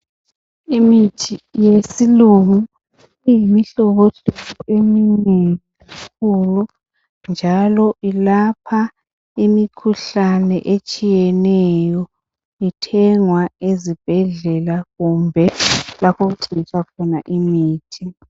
Imithi yesilungu iyimihlobohlobo eminengi njalo ilapha imikhuhlane etshiyeneyo. Ithengwa ezibhedlela kumbe lapho okuthengiswa khona imithi.